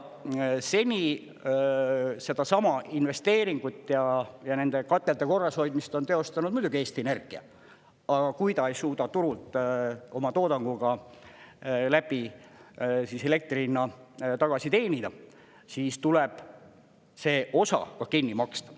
Seni sedasama investeeringut ja nende katelde korrashoidmist on teostanud muidugi Eesti Energia, aga kui ta ei suuda turult oma toodanguga läbi elektri hinna tagasi teenida, siis tuleb see osa ka kinni maksta.